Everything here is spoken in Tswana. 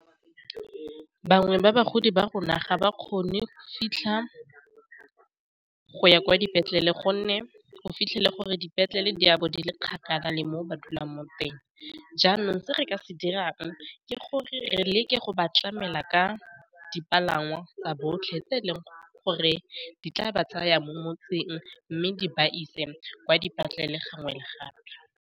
Bangwe ba bagodi ba rona ga ba kgone go fitlha go ya kwa dipetlele gonne o fitlhele gore dipetlele di bo di le kgakala le mo ba dulang mo teng, jang re ka se dirang ke gore re leke go ba tlamela ka dipalangwa tsa botlhe tse le gore di tla ba tsaya mo motseng mme di ba ise kwa dipetlele gangwe le gape.